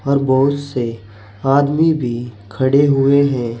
और बहुत से आदमी भी खड़े हुए है।